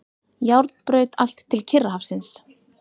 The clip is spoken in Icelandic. Járnbraut allt til Kyrrahafsins.